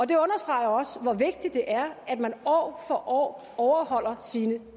det understreger også hvor vigtigt det er at man år for år overholder sine